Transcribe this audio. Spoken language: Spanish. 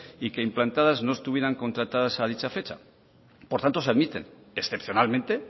y que implantadas no estuvieran contratadas a dicha fecha por tanto se admiten excepcionalmente